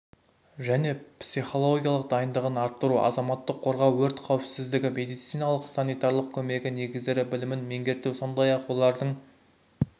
және психологиялық дайындығын арттыру азаматтық қорғау өрт қауіпсіздігі медициналық-санитарлық көмегі негіздері білімін меңгерту сондай-ақ олардың